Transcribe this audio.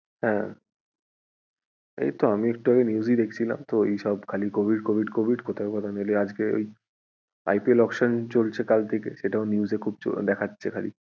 হ্যাঁ, এইতো আমি একটু আগে news ই দেখছিলাম তো এইসব খালি covid covid covid কথায় কথায় নয়তো আজকে ওই IPL auction চলছে সেটাও news এ খুব দেখাচ্ছে।